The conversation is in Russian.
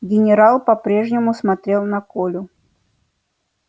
генерал по прежнему смотрел на колю